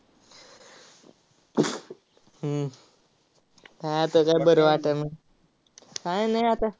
हम्म काय आता काय नाय आता.